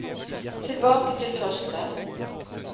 tilbake til første